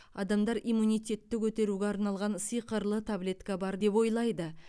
адамдар иммунитетті көтеруге арналған сиқырлы таблетка бар деп ойлайды